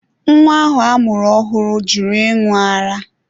Nwa ahụ amụrụ ọhụrụ jụrụ ịṅụ ara.